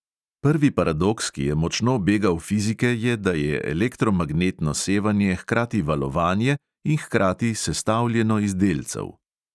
Prvi paradoks, ki je močno begal fizike, je, da je elektromagnetno sevanje hkrati valovanje in hkrati sestavljeno iz delcev.